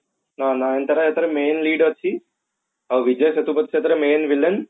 ହଁ ନୟନତାରା ଏଥିରେ main lead ଅଛି ଆଉ ବିଜୟ ସେତୁପତି ସେଥିରେ main villain